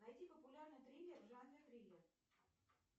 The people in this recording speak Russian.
найди популярный триллер в жанре триллер